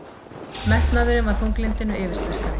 Metnaðurinn var þunglyndinu yfirsterkari.